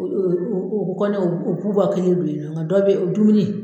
u bɛ kɔntɛ u b'o ka nka dɔw bɛ ye dumuni.